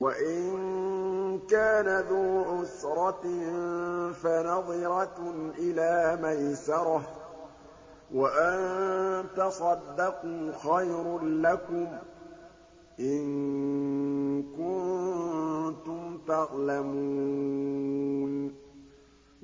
وَإِن كَانَ ذُو عُسْرَةٍ فَنَظِرَةٌ إِلَىٰ مَيْسَرَةٍ ۚ وَأَن تَصَدَّقُوا خَيْرٌ لَّكُمْ ۖ إِن كُنتُمْ تَعْلَمُونَ